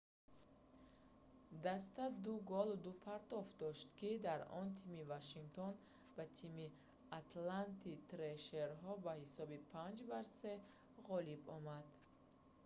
даста 2 голу 2 партофт дошт ки дар он тими вашингтон ба тими атланта трешерҳо бо ҳисоби 5-3 ғолиб омад